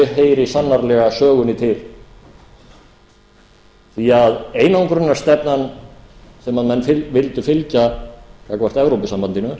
heyri sannarlega sögunni til því að einangrunarstefnan sem menn vildu fylgja gagnvart evrópusambandinu